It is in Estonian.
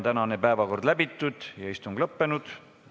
Tänane päevakord on läbitud ja istung lõppenud.